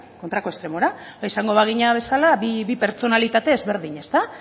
kontrako estremora izango bagina bezala bi pertsonalitate ezberdin